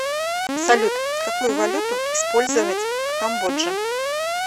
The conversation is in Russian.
салют какую валюту использовать в камбодже